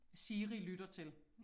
Siri lytter til